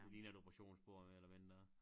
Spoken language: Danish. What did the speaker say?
Det ligner et operationsbord mere eller mindre